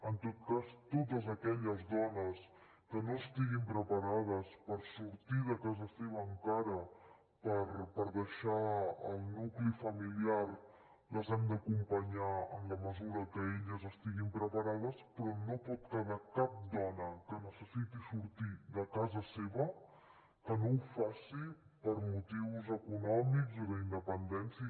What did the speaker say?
en tot cas totes aquelles dones que no estiguin preparades per sortir de casa seva encara per deixar el nucli familiar les hem d’acompanyar en la mesura que elles estiguin preparades però no pot quedar cap dona que necessiti sortir de casa seva que no ho faci per motius econòmics o d’independència